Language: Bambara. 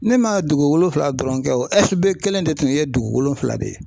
Ne man dugu wolonfila dɔrɔn kɛ o SB kelen de tun ye dugu wolonfila de ye.